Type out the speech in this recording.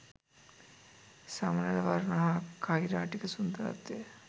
සමනළ වර්ණ හා කෛරාටික සුන්දරත්වය